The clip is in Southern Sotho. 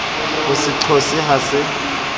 ho se qose ha se